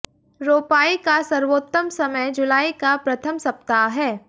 रोपाई का सर्वोंत्तम समय जुलाई का प्रथम सप्ताह है